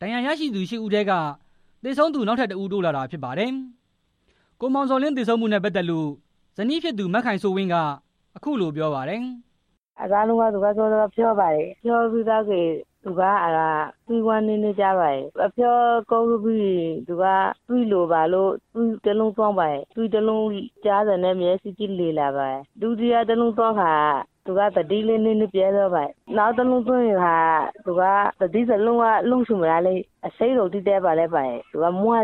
ဒဏ်ရာရသူ ရှစ်ဦးထဲက သေဆုံးသူ နောက်ထပ်တစ်ဦး တိုးလာတာဖြစ်ပါတယ်။ ကိုမောင်ဇော်လင်း သေဆုံးမှုနဲ့ပတ်သက်လို့ သူ့ရဲ့ဇနီးဖြစ်သူ မခိုင်စိုးဝင်းက အခုလိုပြောပါတယ်။ "အစတုန်းက သူကဖျားပါတယ်။ ဖျားပြီးတော့ သွေးဝမ်းလည်း နည်းနည်းသွားပါတယ်။ အဖျားကောင်း တော့ သွေးလိုလာလို့ သွေးသွင်းပါတယ်။ သွေးတစ်လုံးကုန်တာနဲ့ မျက်စိတွေလည်လာပါတယ်။ ဒုတိယတစ်လုံးသွင်းတာနဲ့ သတိနည်းနည်းပျက်လာပါတယ်။ နောက်တစ်လုံးထပ်သွင်းတော့ သတိလုံးဝ မရတော့ပါဘူး။ အဆိပ်ရောင်တွေ တက်လာပါတယ်။ မွန်း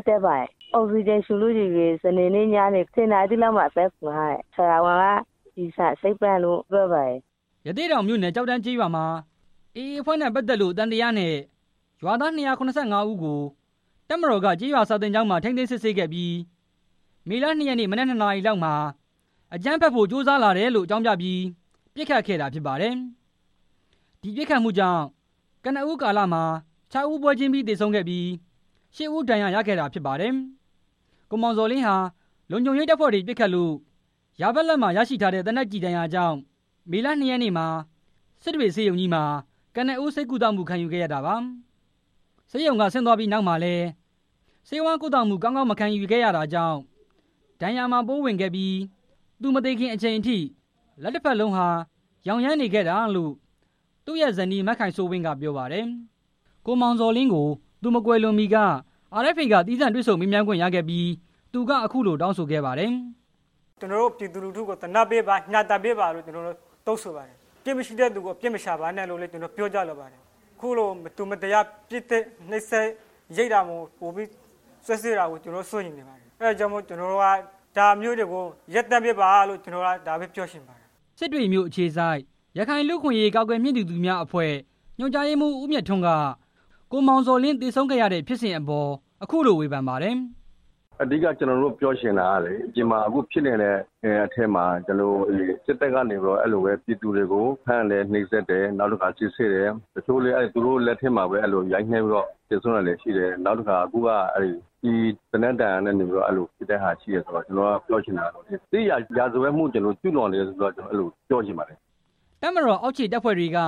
ကျပ်လာတယ်။ အောက်ဆီဂျင်ပေးထားရာ ကနေ စနေနေ့ည ၁၀ နာရီလောက်မှာ ဆုံးသွားပါတယ်။ ဆရာဝန်ကတော့ ကျည်ဆန်အဆိပ်ပြန့်သွား တာလို့ ပြောပါတယ်" ရသေ့တောင်မြို့နယ် ကျောက်တန်းကျေးရွာမှာ AA အဖွဲ့နဲ့ပတ်သက်လို့ သံသယနဲ့ ရွာသား ၂၇၅ ဦးကို တပ်မတော် က ကျေးရွာစာသင်ကျောင်းမှာ ထိန်းသိမ်းစစ်ဆေးခဲ့ပြီး မေလ ၂ ရက်နေ့ မနက် ၂ နာရီလောက်မှာ အကြမ်းဖက်ဖို့ ကြိုးစားလာတယ်လို့ အကြောင်းပြပြီး ပစ်ခတ်ခဲ့တာဖြစ်ပါတယ်။ အဲဒီပစ်ခတ်မှုကြောင့် ကနဦးကာလမှာ လူ ခြောက်ဦး ပွဲချင်းပြီး သေဆုံးပြီး ၈ ဦး ဒဏ်ရာရခဲ့တာဖြစ်ပါတယ်။ ကိုမောင်ဇော်လင်းဟာ လုံခြုံရေးတပ်ဖွဲ့ဝင်တွေပစ်ခတ်လို့ ယာဘက်လက်မှာရရှိထားတဲ့ သေနတ် ကျည်ဒဏ်ရာ ကြောင့် မေလ ၂ ရက်နေ့မှာ စစ်တွေဆေးရုံကြီးမှာ ကနဦး ဆေးကုသမှုခံယူခဲ့တာပါ။ ဆေးရုံကဆင်းသွားပြီးနောက်မှာလည်း ဆေးဝါးကုမှု ကောင်းကောင်းမခံယူခဲ့ရတာကြောင့် ဒဏ်ရာမှာ ပိုးဝင်သွားခဲ့ပြီး သူမသေခင်အချိန်အထိ လက်တစ်ဘက် လုံးဟာ ရောင်ရမ်းနေခဲ့တာလို့ သူ့ရဲ့ဇနီး မခိုင်စိုးဝင်းကပြောပါတယ်။ ကိုအောင်ဇော်လင်းကို သူမကွယ်လွန်မီက RFA က သီးသန့်တွေ့ဆုံမေးမြန်းခွင့်ရခဲ့ပြီး သူကအခုလို တောင်းဆိုခဲ့ပါတယ်။ "ကျွန်တော်တို့ပြည်သူလူထုကို ညှာတာပေးပါ၊ သနားပေးပါလို့ တောင်းဆိုပါတယ်။ အပြစ်မရှိတဲ့ လူတွေကိုအပြစ်မရှာပါနဲ့လို့လည်း ပြောကြားလိုပါတယ်။ အခုလို မတော်မတရား ပစ်သတ်နှိပ်စက် ရိုက်နှက်တာ၊ စွပ်စွဲတာကို ပိုပြီးစိုးရိမ်ပါတယ်။ အဲဒါကြောင့်မို့လို့ ကျွန်တော်တို့က ဒါမျိုးတွေကို ရပ်တန့်ပေးပါလို့ ကျွန်တော် ပြောချင် ပါတယ်" စစ်တွေမြို့အခြေစိုက် ရခိုင်လူ့အခွင့်အရေး ကာကွယ်မြှင့်တင်သူများ အဖွဲ့ ညွှန်ကြားရေးမှူး ဦးမြတ်ထွန်းက ကိုအောင်ဇော်လင်း သေဆုံးခဲ့ ရတဲ့ဖြစ်စဉ်အပေါ် အခုလိုဝေဖန်ပါတယ်။ "အဓိက ကျွန်တော်တို့ပြောချင်တာကလေ အပြင်မှာ အခုဖြစ်နေတဲ့ အထဲမှာ စစ်တပ်ကနေပြီးတော့ အဲလိုပဲပြည်သူတွေကို ဖမ်းတယ်၊ နှိပ်စက်တယ်၊ စစ်ဆေးတယ်၊ သူတို့လက်ထဲ မှာပဲ အဲလိုရိုက်နှက်ပြီးတော့ သေဆုံးတာတွေရှိတယ်။ နောက်တစ်ခါ အခုက အဲဒီ ကျည်သေနတ်ဒဏ်ရာနဲ့ အဲလိုသေရတဲ့ဟာရှိတယ်ဆိုတော့ ကျွန်တော်ပြောချင်တာက စစ်ရာဇဝတ်မှုကို ကျူးလွန်းတာပဲလို့ အဲလို ပြောချင်ပါတယ်" တပ်မတော်အောက်ခြေတပ်ဖွဲ့တွေက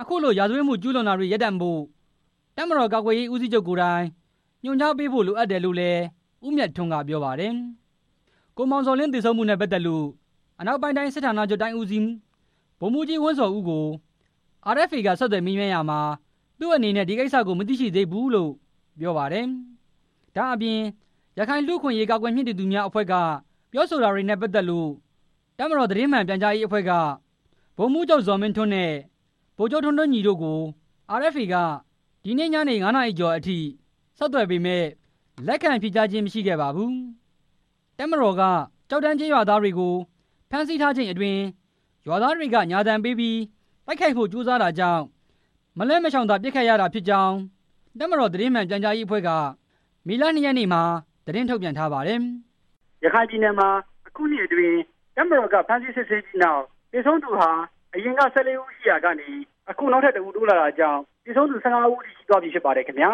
အခုလို ရာဇဝတ်မှုကျူးလွန်တာတွေရပ်တန့်ဖို့ တပ်မတော်ကာကွယ်ရေး ဦးစီးချုပ် ကိုယ်တိုင် ညွှန်ကြားပေးဖို့ လိုအပ်တယ်လို့လည်း ဦးမြတ်ထွန်း ကပြောပါတယ်။ ကိုမောင်ဇော်လင်း သေဆုံးမှုနဲ့ပတ်သက်လို့ အနောက်ပိုင်းတိုင်း စစ်ဌာနချုပ်တိုင်းဦးစီး ဗိုလ်မှူးကြီး ဝင်းဇော်ဦးကို RFA က ဆက်သွယ်မေးမြန်းခဲ့ရာမှာ သူ့အနေနဲ့ ဒီကိစ္စကို မသိရှိသေးဘူးလို့ ပြောပါတယ်။ ဒါ့အပြင် ရခိုင်လူ့အခွင့်အရေးကာကွယ်မြှင့်တင်သူများအဖွဲ့က ပြောဆိုတာတွေနဲ့ပတ်သက်လို့ တပ်မတော် သတင်းမှန်ပြန်ကြားရေးအဖွဲ့က ဗိုလ်မှူးချုပ် ဇော်မင်းထွန်းနဲ့ ဗိုလ်ချုပ် ထွန်းထွန်းညီတို့ကို RFA က ဒီနေ့ညနေ ငါးနာရီကျော်အထိ ဆက်သွယ်ပေမယ့် လက်ခံဖြေကြားခြင်းမရှိခဲ့ပါဘူး။ တပ်မတော်က ကျောက်တန်းကျေးရွာသားတွေကို ဖမ်းဆီးထားချိန်အတွင်း ရွာသားတွေက ညာသံပေးပြီး တိုက်ခိုက်ဖို့ ကြိုးစားတာကြောင့် မလွှဲမရှောင်သာ ပစ်ခတ်ခဲ့ရတာဖြစ်ကြောင်း တပ်မတော် သတင်းမှန် ပြန်ကြားရေးအဖွဲ့က မေလ ၂ ရက်နေ့မှာ သတင်းထုတ်ပြန်ထားပါတယ်။ ရခိုင်ပြည်နယ်မှာ အခုနှစ်အတွင်း တပ်မတော်က ဖမ်းဆီးစစ်ဆေးပြီးနောက် သေဆုံးသူဟာ အရင်က ၁၄ ဦးအထိ ရှိခဲ့ရာကနေ အခုနောက်ထပ်တစ်ဦး တိုးလာတာလည်း ဖြစ်ပါတယ်ခင်ဗျာ